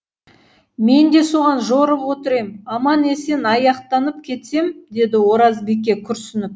мен де соған жорып отыр ем аман есен аяқтанып кетсем деді оразбике күрсініп